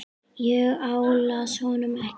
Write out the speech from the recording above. Ég álasa honum ekki.